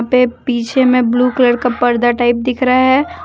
पे पीछे मे ब्लू कलर का पर्दा टाइप दिख रहा है।